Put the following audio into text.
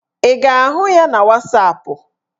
Ị ga-ahụ ya na wasapụ?